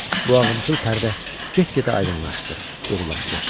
Bu ağımçıl pərdə get-gedə aydınlaşdı, durulaşdı.